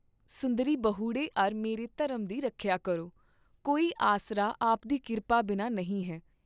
ਸੁੰਦਰੀ ਬਹੁੜੇ ਅਰ ਮੇਰੇ ਧਰਮ ਦੀ ਰਖਯਾ ਕਰੋ, ਕੋਈ ਆਸਰਾ ਆਪਦੀ ਕਿਰਪਾ ਬਿਨਾਂ ਨਹੀਂ ਹੈ।